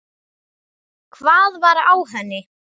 Hvað var á henni?